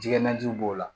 Jɛgɛji b'o la